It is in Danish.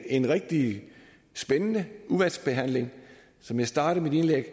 en rigtig spændende udvalgsbehandling som jeg startede mit indlæg